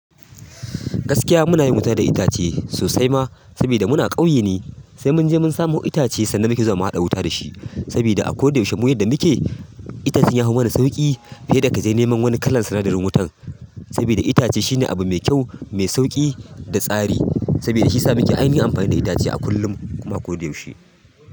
Gaskiya muna yin wuta da itace sosai ma, sabida muna ƙauye ne. Sai munje mun samu wani itace sannan muke zuwa mu haɗa wuta da shi. Sabida a ko da yaushe yadda muke itacen ya fi mana sauƙi, fiye da ka je neman wani kalan sanadarin wutan. Saboda itace shine abu mai kyau, mai sauƙi da tsari. Sabida shiyasa muke yin amfani da itace a kullum kuma a ko da yaushe.